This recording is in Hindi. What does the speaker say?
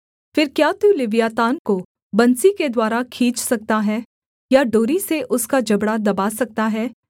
फिर क्या तू लिव्यातान को बंसी के द्वारा खींच सकता है या डोरी से उसका जबड़ा दबा सकता है